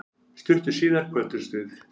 Stuttu síðar kvöddumst við.